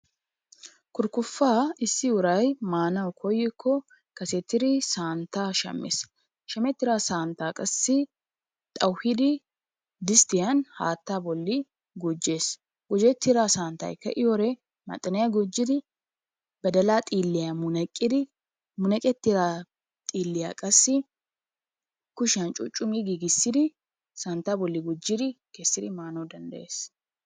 Kurikuppaa issi uray manawu koyikko kasettidi santtaa shamees, shametida santta qassi, xauwhidi distiyan hattaa gujjess, gujettida santtay ka'iyowode maxiniya gujjiddi, badala xiliyaa munaqidi munaqettida xiliya qassi kushiyan cucumi gigisidi santtaa bollaa gujjidi manawu dandayees.